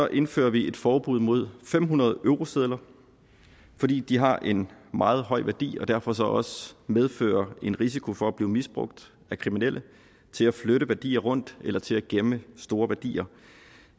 indfører vi et forbud mod fem hundrede eurosedler fordi de har en meget høj værdi og derfor også medfører en risiko for at blive misbrugt af kriminelle til at flytte værdier rundt eller til at gemme store værdier